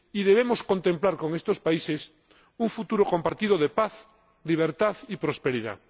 Y debemos contemplar con estos países un futuro compartido de paz, libertad y prosperidad.